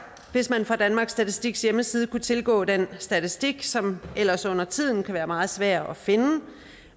hvis man fra danmarks statistiks hjemmeside kunne tilgå den statistik som ellers undertiden kan være meget svær at finde